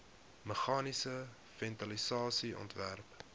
meganiese ventilasie ontwerp